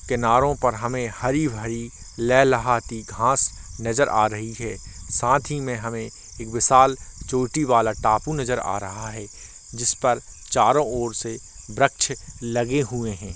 किनारो पर हमे हरी-हरी लह लहाती घास नजर आ रही है साथ ही मे हमे विशाल चोटी वाला टापू नजर आ रहा है जिसपर चारो ओर से व्रक्ष लगे हुए है।